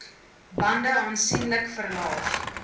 bande aansienlik verlaag